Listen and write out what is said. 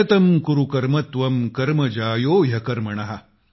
नियतं कुरु कर्म त्वं कर्म ज्यायो ह्यकर्मण